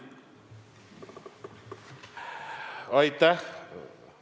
Aitäh!